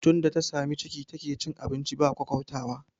Tunda ta sami ciki take cin abinci ba kwaukwautawa